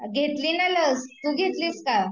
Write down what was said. घेतली ना लस तु घेतलीस का